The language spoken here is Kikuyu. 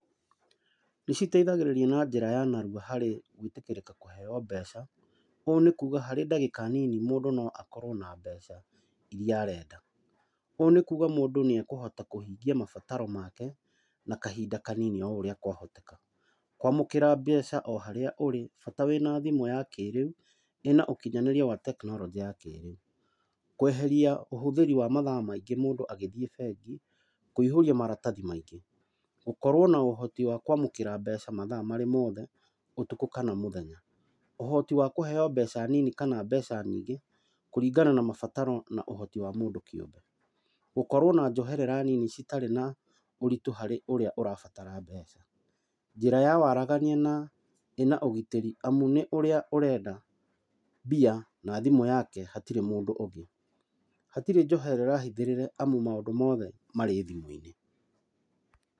Nĩ citeithagĩrĩrĩa na njĩra ya narua harĩ gũĩtĩkĩrĩka kũheyo mbeca. Ũũ nĩ kũga harĩ ndagĩka nini mũndũ noakorwo na mbeca, iria arenda. Ũũ nĩkuga mũndũ nĩ ekũhota kũhingia mabataro make, na kahinda kanini o ũrĩa kwahoteka. Kwamũkĩra mbeca o harĩa ũrĩ, bata wĩna thĩmũ ya kĩrĩu, ĩna ũkinyanĩria wa tekinoronjĩ ya kĩrĩu. Kweheria ũhũthĩri wa mathaa maingĩ mũndũ agĩthiĩ bengi kũihũria maratathi maingĩ. Gũkorwo na ũhoti wa kwamũkĩra mbeca mathaa marĩ mothe, ũtukũ kana mũthenya. Ũhoti wa kũheyo mbeca nini kana mbeca nyingĩ kũringana na mabataro na ũhoti wa mũndũ kĩũmbe. Gũkorwo na njoherera ninj citarĩ na ũritũ harĩ ũrĩa ũrabatara mbeca. Njĩra wa waragania na ĩna ũgitĩri amũ nĩ ũrĩa ũrenda mbia, na thimũ yake, hatirĩ mũndũ ũngĩ. Hatirĩ njoherera hithĩrĩre amu maũndũ mothe marĩ thimũ-inĩ.